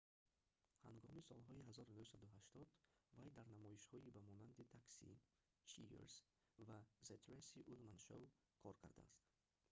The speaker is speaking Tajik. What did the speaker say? ҳангоми солҳои 1980 вай дар намоишҳои ба монанди taxi cheers ва the tracy ullman show кор кардааст